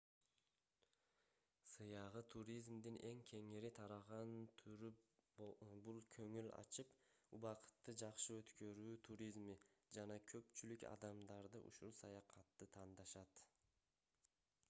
сыягы туризмдин эң кеңири тараган түрү бул көңүл ачып убакытты жакшы өткөрүү туризми жана көпчүлүк адамдарды ушул саякатты тандашат